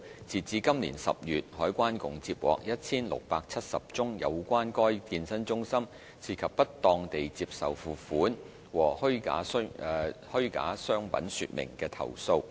截至今年10月，海關共接獲 1,670 宗有關該健身中心涉及"不當地接受付款"和"虛假商品說明"的投訴。